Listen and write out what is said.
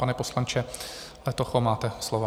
Pane poslanče Letocho, máte slovo.